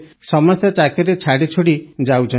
ସମସ୍ତେ ଚାକିରି ଛାଡ଼ିଛୁଡ଼ି ଯାଉଛନ୍ତି